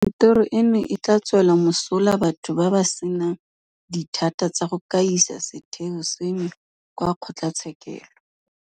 Kantoro eno e tla tswela mosola batho ba ba senang dithata tsa go ka isa setheo seno kwa kgotlatshekelo.